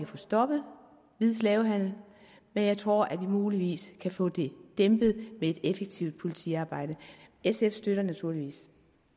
få stoppet hvid slavehandel men jeg tror at vi muligvis kan få det dæmpet ved et effektivt politiarbejde sf støtter naturligvis